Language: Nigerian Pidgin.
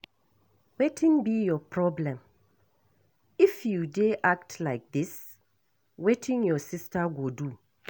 Wetin be your problem? If you dey act like dis ,wetin your sister go do?